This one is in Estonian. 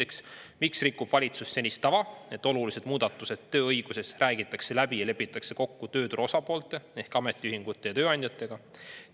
Esiteks, miks rikub valitsus senist tava, et olulised muudatused tööõiguses räägitakse läbi ja lepitakse kokku tööturu osapoolte ehk ehk ametiühingute ja tööandjatega?